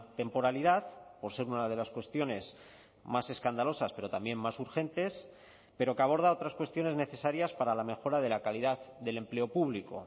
temporalidad por ser una de las cuestiones más escandalosas pero también más urgentes pero que aborda otras cuestiones necesarias para la mejora de la calidad del empleo público